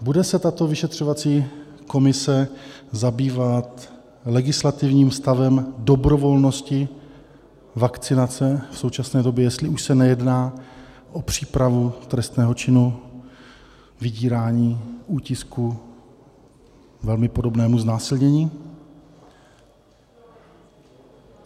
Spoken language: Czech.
Bude se tato vyšetřovací komise zabývat legislativním stavem dobrovolnosti vakcinace v současné době, jestli už se nejedná o přípravu trestného činu vydírání, útisku, velmi podobnému znásilnění?